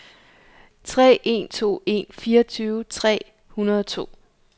tre en to en fireogtyve tre hundrede og to